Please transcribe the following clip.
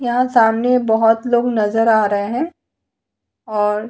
यहां सामने बहुत लोग नजर आ रहे हैं और --